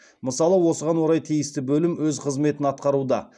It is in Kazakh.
мысалы осыған орай тиісті бөлім өз қызметін атқаруда